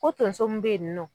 Ko tonso m be yen nɔ